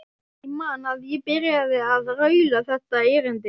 Ég man að ég byrjaði á að raula þetta erindi